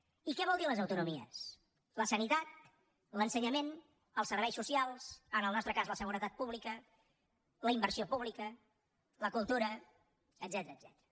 i què vol dir les autonomies la sanitat l’ensenyament els serveis socials en el nostre cas la seguretat pública la inversió pública la cultura etcètera